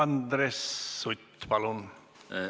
Andres Sutt, palun!